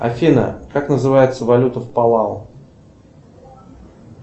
афина как называется валюта в палау